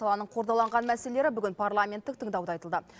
саланың қордаланған мәселелері бүгін парламенттік тыңдауда айтылды